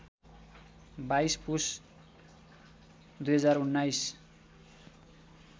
२२ पुस ०१९